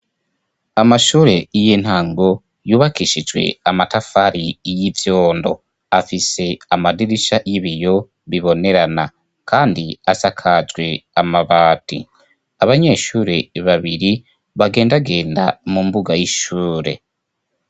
Amashure y'intango yubakishijwe amatafari y'ivyondo, afise amadirisha y'ibiyo bibonerana kandi asakajwe amabati. Abanyeshure babiri bagendagenda mu mbuga y'ishure.